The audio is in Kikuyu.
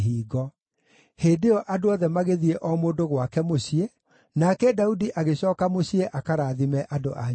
Hĩndĩ ĩyo andũ othe magĩthiĩ o mũndũ gwake mũciĩ, nake Daudi agĩcooka mũciĩ akarathime andũ a nyũmba yake.